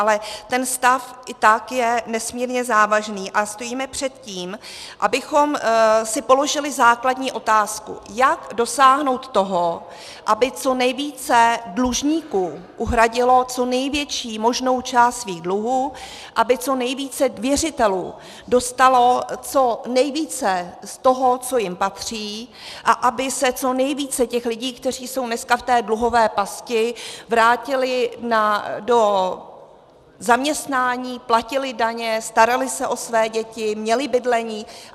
Ale ten stav i tak je nesmírně závažný a stojíme před tím, abychom si položili základní otázku, jak dosáhnout toho, aby co nejvíce dlužníků uhradilo co největší možnou část svých dluhů, aby co nejvíce věřitelů dostalo co nejvíce z toho, co jim patří, a aby se co nejvíce těch lidí, kteří jsou dneska v té dluhové pasti, vrátilo do zaměstnání, platili daně, starali se o své děti, měli bydlení.